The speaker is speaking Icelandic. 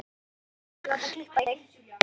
Þú verður að láta klippa þig.